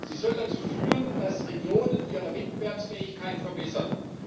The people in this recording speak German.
Sie soll dazu führen, dass Regionen ihre Wettbewerbsfähigkeit verbessern.